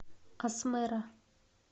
асмэра